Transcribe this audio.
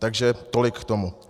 Takže tolik k tomu.